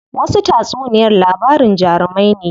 Wasu tatsuniyar labarin jarumai ne.